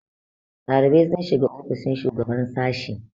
ɗalibai sun shiga ofishin shugaban sashe